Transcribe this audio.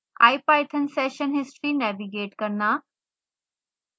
ipython session history navigate करना